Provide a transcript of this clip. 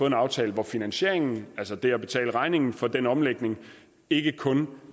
en aftale hvor finansieringen altså det at betale regningen for den omlægning ikke kun